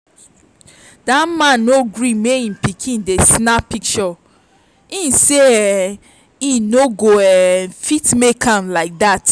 dat man no gree make im pikin dey snap pishure im say um e no go um fit make am like that